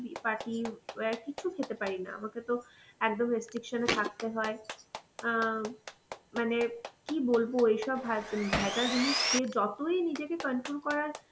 party wear কিছু খেতে পারি না, আমাকে তো একদম restriction এ থাকতে হয়. অ্যাঁ মানে কি বলবো এইসব ভাঁজ~ ভেজাল জিনিস খেয়ে যতই নিজেকে control করার